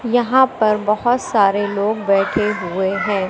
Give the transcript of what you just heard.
यहां पर बहोत सारे लोग बैठे हुए हैं।